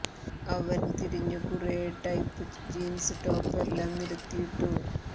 അവൻ തിരിഞ്ഞു കുറേ ടൈപ്പ് ജീൻസ് ടോപ് എല്ലാം നിരത്തി ഇട്ടു